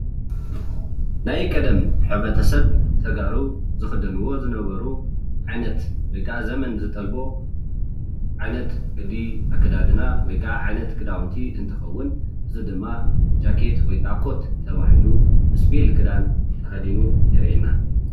ናይ ቀደም ሕብረተሰብ ተጋሩ ዝክደንዎ ዝነበሩ ዓይነት ወይ ከዓ ዘመን ዝጠልቦ ዓይነት ቅዲ ኣከዳድና ወይ ከዓ ዓይነት ክዳውንቲ እንትከውን እዚ ድማ ጃኬት ወይ ከዓ ኮት ተባሂሉ እስፒል ክዳን ተከዲኑ የርእየና፡፡